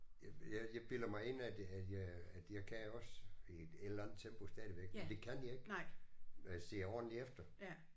Jeg jeg bilder mig ind at jeg at jeg at jeg kan også i et eller andet tempo stadigvæk men det kan jeg ikke når jeg ser ordentligt efter